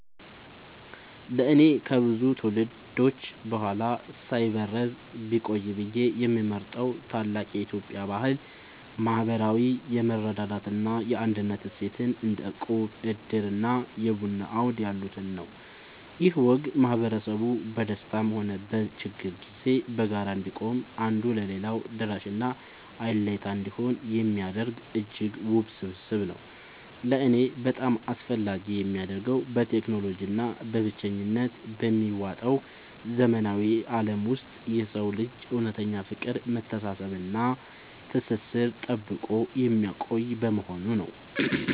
ለእኔ ከብዙ ትውልዶች በኋላ ሳይበረዝ ቢቆይ ብዬ የምመርጠው ታላቅ የኢትዮጵያ ባህል **ማህበራዊ የመረዳዳት እና የአንድነት እሴትን** (እንደ እቁብ፣ ዕድር እና የቡና አውድ ያሉትን) ነው። ይህ ወግ ማህበረሰቡ በደስታም ሆነ በችግር ጊዜ በጋራ እንዲቆም፣ አንዱ ለሌላው ደራሽና አለኝታ እንዲሆን የሚያደርግ እጅግ ውብ ስብስብ ነው። ለእኔ በጣም አስፈላጊ የሚያደርገው፣ በቴክኖሎጂ እና በብቸኝነት በሚዋጠው ዘመናዊ ዓለም ውስጥ የሰውን ልጅ እውነተኛ ፍቅር፣ መተሳሰብ እና ትስስር ጠብቆ የሚያቆይ በመሆኑ ነው።